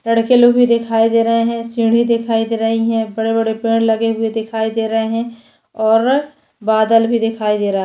लड़के लोग भी दिखाई दे रहे है सीढ़ी दिखाई दे रही है बड़े-बड़े पेड़ लगे हुए दिखाई दे रहे है और बादल भी दिखाई दे रहा है।